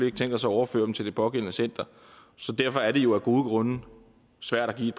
ikke tænkt os at overføre dem til det pågældende center så derfor er det jo af gode grunde svært at give et